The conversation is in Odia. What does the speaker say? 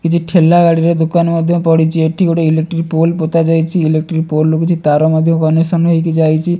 କିଛି ଠେଲା ଗାଡ଼ିରେ ଦୋକାନ ମଧ୍ୟ ପଡ଼ିଛି ଏଠି ଗୋଟେ ଇଲେକ୍ଟ୍ରି ପୋଲ୍ ପତାଯାଇଛି ଇଲେକ୍ଟ୍ରି ପୋଲ୍ ଦେଖିଚି ତାର ମଧ୍ୟ କନେକ୍ସନ ହେଇକି ଯାଇଛି।